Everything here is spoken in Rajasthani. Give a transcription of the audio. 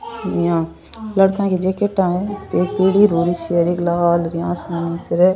इया लड़का की जैकेटा है एक पिली धौली सी हर एक लाल आसमानी सी है।